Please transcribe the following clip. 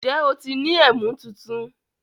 Ǹjẹ́ o ti ni ẹ̀mú tuntun?